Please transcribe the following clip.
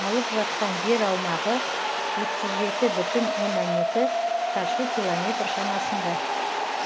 алып жатқан жер аумағы отыз жеті бүтін оннан екі шаршы километр шамасында